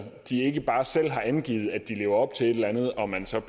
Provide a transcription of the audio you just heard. de ikke bare selv har angivet at de lever op til et eller andet og man så